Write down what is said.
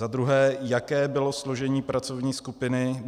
Za druhé, jaké bylo složení pracovní skupiny.